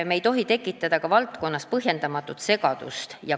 Me ei tohi tekitada valdkonnas põhjendamatut segadust.